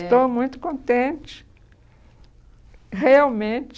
é, estou muito contente, realmente.